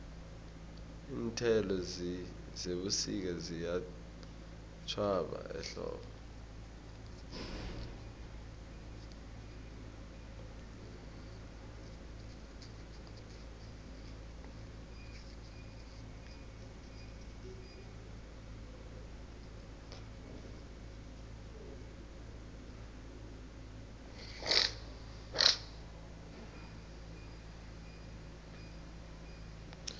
iinthelo zebusika ziyatjhwaba ehlobo